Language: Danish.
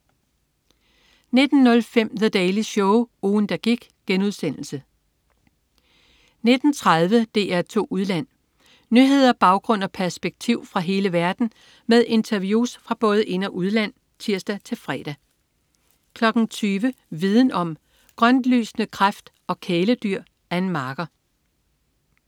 19.05 The Daily Show, ugen, der gik* 19.30 DR2 Udland. Nyheder, baggrund og perspektiv fra hele verden med interviews fra både ind- og udland (tirs-fre) 20.00 Viden om: Grøntlysende kræft og kæledyr. Ann Marker